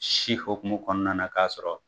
Si hɔkumu kɔnɔna na k'a sɔrɔ.